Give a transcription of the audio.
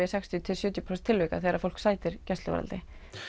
í sextíu til sjötíu prósent tilvika þegar fólk sætir gæsluvarðhaldi